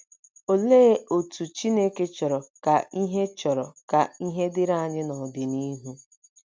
Olee otú Chineke chọrọ ka ihe chọrọ ka ihe dịrị anyị n’ọdịnihu?